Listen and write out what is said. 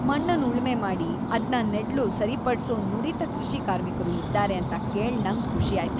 ಮಣ್ಣನ್ ಉಳ್ಮೆ ಮಾಡಿ ಅದ್ನ ನೆಡ್ಲು ಸರಿಪಡ್ಸೋ ನುರಿತ ಕೃಷಿ ಕಾರ್ಮಿಕರು ಇದ್ದಾರೆ ಅಂತ ಕೇಳ್ ನಂಗ್ ಖುಷಿಯಾಯ್ತ್.